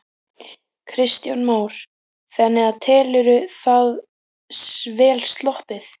Kristján Már: Þannig að telurðu það vel sloppið?